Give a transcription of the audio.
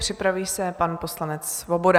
Připraví se pan poslanec Svoboda.